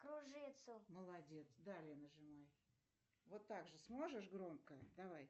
кружится молодец далее нажимай вот также сможешь громко давай